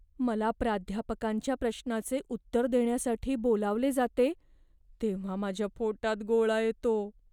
मला प्राध्यापकांच्या प्रश्नाचे उत्तर देण्यासाठी बोलावले जाते तेव्हा माझ्या पोटात गोळा येतो.